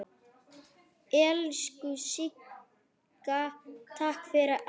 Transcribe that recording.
Elsku Sigga, takk fyrir allt.